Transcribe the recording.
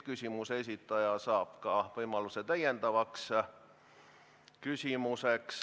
Küsimuse registreerija saab ka võimaluse esitada täpsustav küsimus.